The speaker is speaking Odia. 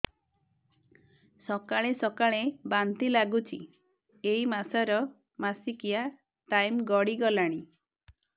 ସକାଳେ ସକାଳେ ବାନ୍ତି ଲାଗୁଚି ଏଇ ମାସ ର ମାସିକିଆ ଟାଇମ ଗଡ଼ି ଗଲାଣି